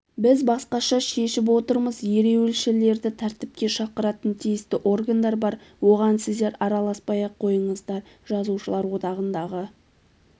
біз басқаша шешіп отырмыз ереуілшілерді тәртіпке шақыратын тиісті органдар бар оған сіздер араласпай-ақ қойыңыздар жазушылар одағындағы